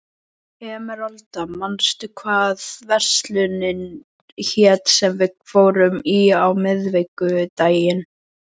Emeralda, manstu hvað verslunin hét sem við fórum í á miðvikudaginn?